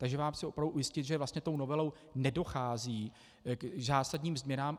Takže vás chci opravdu ujistit, že vlastně tou novelou nedochází k zásadním změnám.